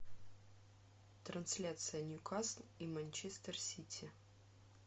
трансляция ньюкасл и манчестер сити